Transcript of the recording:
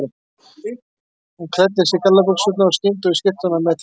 Hún klæddi sig í gallabuxurnar í skyndi og í skyrtuna á methraða.